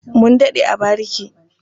Mun daɗe a bariki.